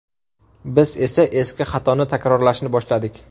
Biz esa eski xatoni takrorlashni boshladik.